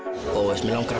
mig langar að